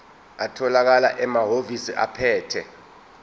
atholakala emahhovisi abaphethe